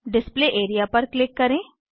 display area पर click करें